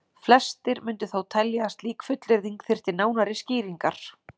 Flestir mundu þó telja að slík fullyrðing þyrfti nánari skýringar.